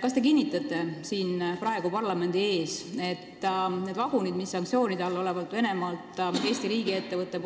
Kas te kinnitate siin praegu parlamendi ees, et neid vaguneid, mida sanktsioonide all olevalt Venemaalt ostis Eesti riigiettevõte,